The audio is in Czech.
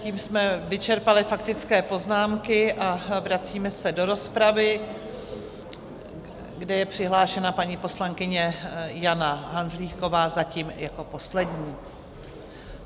Tím jsme vyčerpali faktické poznámky a vracíme se do rozpravy, kde je přihlášená paní poslankyně Jana Hanzlíková zatím jako poslední.